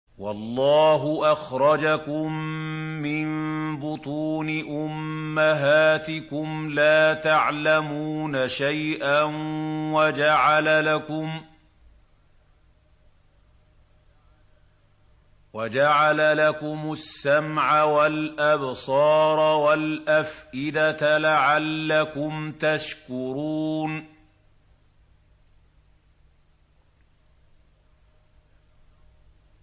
وَاللَّهُ أَخْرَجَكُم مِّن بُطُونِ أُمَّهَاتِكُمْ لَا تَعْلَمُونَ شَيْئًا وَجَعَلَ لَكُمُ السَّمْعَ وَالْأَبْصَارَ وَالْأَفْئِدَةَ ۙ لَعَلَّكُمْ تَشْكُرُونَ